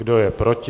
Kdo je proti?